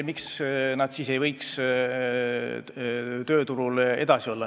... miks nad siis ei võiks tööturul edasi olla?